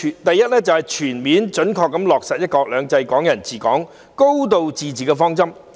第一，全面準確落實"一國兩制"、"港人治港"、"高度自治"的方針。